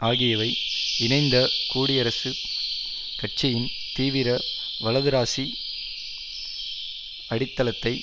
ஆகியவை இணைந்த கூடியரசுக் கட்சியின் தீவிர வலதுராசி அடித்தளத்தை